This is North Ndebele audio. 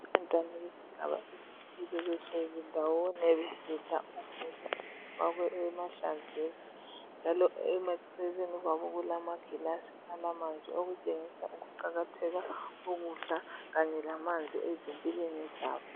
Abantwana besigaba esithile behleli ndawonye besidla ukudla kufakwe emahlamvini. Njalo emaceleni kwabo kulama gilasi alamanzi. Okutshengisa ukuqakatheka kokudla kanye lamanzi ezimpilweni zabo.